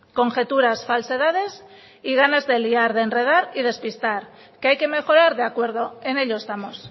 conjetura falsedades y ganas de liar de enredar y de asustar que hay que mejorar de acuerdo en ello estamos